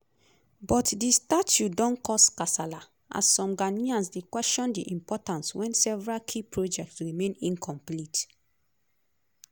but di statue don cause kasala as some ghanaians dey question di importance wen several key projects remain incomplete.